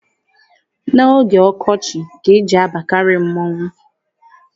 N'oge ọkọchị ka e ji abakarị mmọnwụ.